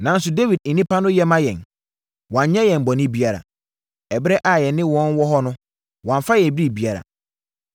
Nanso Dawid nnipa no yɛ ma yɛn. Wɔannyɛ yɛn bɔne biara. Ɛberɛ a yɛne wɔn wɔ hɔ no, wɔamfa yɛn biribiara.